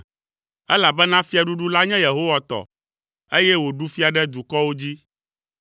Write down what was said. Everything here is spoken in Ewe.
Elabena fiaɖuɖu la nye Yehowa tɔ, eye wòɖu fia ɖe dukɔwo dzi.